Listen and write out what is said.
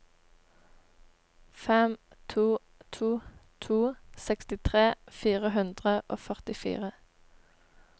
fem to to to seksti fire hundre og førtifire